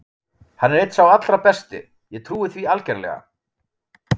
Hann er einn sá allra besti, ég trúi því algerlega.